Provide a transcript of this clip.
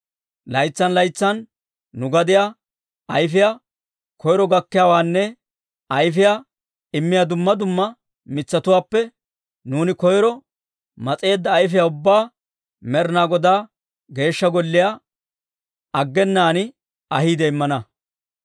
«Laytsan laytsan nu gadiyaa ayfiyaa koyro gakkiyaawaanne ayfiyaa immiyaa dumma dumma mitsatuwaappe nuuni koyro mas'eedda ayfiyaa ubbaa Med'inaa Godaa Geeshsha Golliyaa aggenaan ahiide immana.